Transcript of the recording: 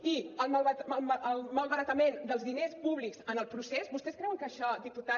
i el malbaratament dels diners públics en el procés vostès creuen que això diputat